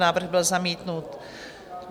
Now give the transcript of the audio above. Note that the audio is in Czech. Návrh byl zamítnut.